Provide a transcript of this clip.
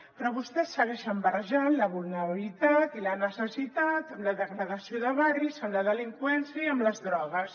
però vostès segueixen barrejant la vulnerabilitat i la necessitat amb la degradació de barris amb la delinqüència i amb les drogues